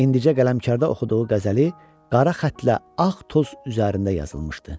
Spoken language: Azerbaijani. İndicə qələmkarda oxuduğu qəzəli qara xəttlə ağ toz üzərində yazılmışdı.